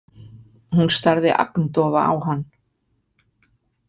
Hún starði agndofa á hann.